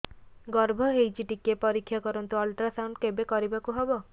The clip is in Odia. ଗର୍ଭ ହେଇଚି ଟିକେ ପରିକ୍ଷା କରନ୍ତୁ ଅଲଟ୍ରାସାଉଣ୍ଡ କେବେ କରିବାକୁ ହବ